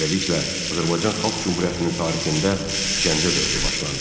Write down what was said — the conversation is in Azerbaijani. Beləliklə, Azərbaycan Xalq Cümhuriyyətinin tarixində Gəncə dövrü başlandı.